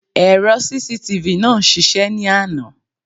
Èrò CCTV náà ń ṣiṣẹ́ ní àná.